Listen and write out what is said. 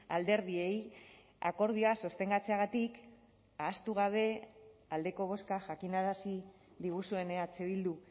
alderdiei akordioa sostengatzeagatik ahaztu gabe aldeko bozka jakinarazi diguzuen eh bildu